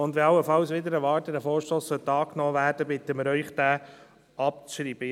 Wenn allenfalls dieser Vorstoss wider Erwarten angenommen werden sollte, bitten wir Sie, ihn abzuschreiben.